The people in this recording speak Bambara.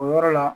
O yɔrɔ la